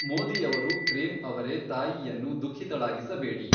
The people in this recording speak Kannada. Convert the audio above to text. ಮೋದಿಯವರು ಪ್ರೇಮ್ ಅವರೆ ತಾಯಿಯನ್ನು ದುಖಿಃತಳಾಗಿಸಬೇಡಿ.